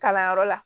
Kalanyɔrɔ la